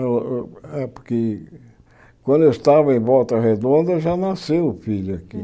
Eu eu é porque quando eu estava em Volta Redonda, já nasceu o filho aqui.